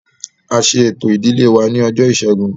A ṣe ẹ̀tọ́ ìdílé wa ní ọjọ́ ìṣẹ́gun